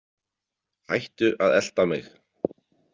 Hættu að elta mig.